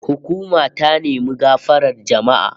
Hukuma ta nemi gafarar jama'a